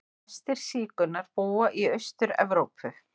Flestir sígaunar búa í Austur-Evrópu.